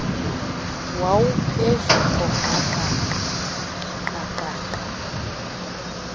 wawuphezu koqaqaqa qaqaqa